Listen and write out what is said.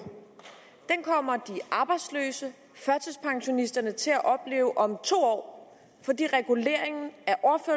kommer de arbejdsløse førtidspensionisterne til at opleve om to år fordi reguleringen